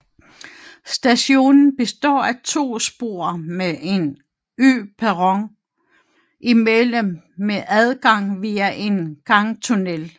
Stationen består af to spor med en øperron imellem med adgang via en gangtunnel